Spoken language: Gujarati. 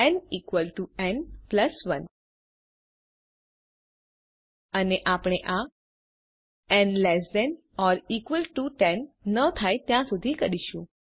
ન ઇકવલ ટુ ન પ્લસ 1 અને આપણે આ n less than or equal to 10 n થાય ત્યાં સુધી કરીશું